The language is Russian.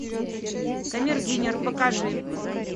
камердинер покажи